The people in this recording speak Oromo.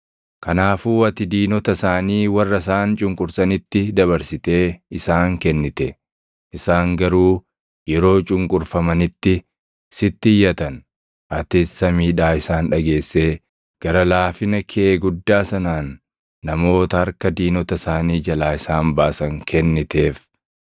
Kanaafuu ati diinota isaanii warra isaan cunqursanitti dabarsitee isaan kennite. Isaan garuu yeroo cunqurfamanitti sitti iyyatan. Atis samiidhaa isaan dhageessee gara laafina kee guddaa sanaan namoota harka diinota isaanii jalaa isaan baasan kenniteef.